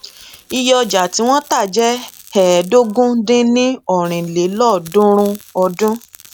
iye ọjà tí wọn tà jẹ ẹẹdógún dín ní ọrin lélọọdúnrún ọdún